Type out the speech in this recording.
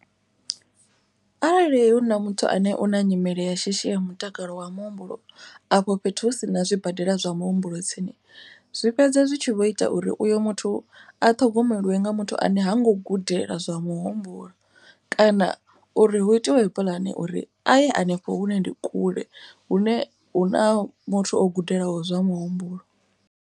Arali hu na muthu ane u na nyimele ya shishi ya mutakalo wa muhumbulo. Afho fhethu hu si na zwibadela zwa muhumbulo tsini. Zwi fhedza zwi tshi vho ita uri uyo muthu a ṱhogomeliwe nga muthu ane ha ngo gudela zwa muhumbulo. Kana uri hu itiwe puḽane uri a ye hanefho hune ndi kule hune hu na muthu o gudelaho zwa muhumbulo.